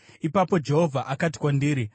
Ipapo Jehovha akati kwandiri,